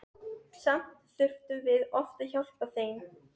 Samt þurftum við oft að hjálpa þeim.